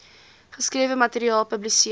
geskrewe materiaal publiseer